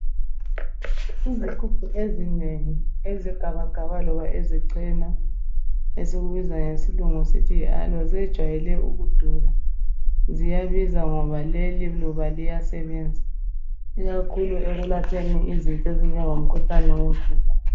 Izigubhu ezinengi ezegabagaba loba ezechena esikubiza ngesilungu sithi yi aloe zejayele ukudula .Ziyabiza ngoba leliluba liyasebenza ikakhulu ekulapheni izinto ezinjengo mkhuhlane wemvuku.